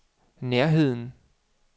nærheden